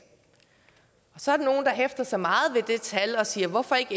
så er der nogle der hæfter sig meget ved det tal og siger hvorfor ikke